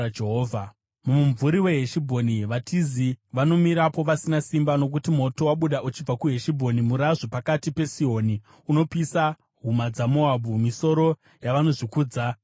“Mumumvuri weHeshibhoni vatizi vanomirapo vasina simba, nokuti moto wabuda uchibva kuHeshibhoni, murazvo pakati peSihoni; unopisa huma dzaMoabhu, misoro yavanozvikudza vemheremhere.